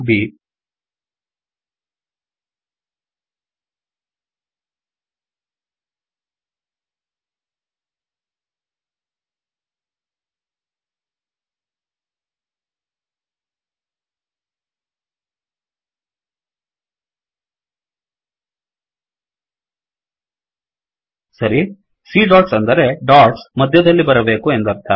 ಆ ಕೊಮಾ ಲ್ dots comma ಬ್ ಸರಿ C dotsಡೊಟ್ಸ್ ಅಂದರೆ ಡೊಟ್ಸ್ ಮಧ್ಯದಲ್ಲಿ ಬರಬೇಕು ಎಂದರ್ಥ